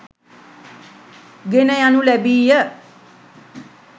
ගෙන යනු ලැබීය.